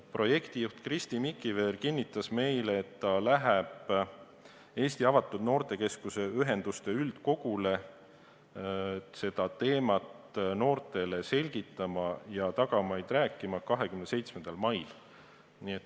Projektijuht Kristi Mikiver kinnitas meile, et ta läheb Eesti Avatud Noortekeskuste Ühenduse üldkogule seda teemat noortele selgitama ja tagamaid rääkima 27. mail.